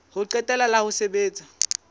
ho qetela la ho sebetsa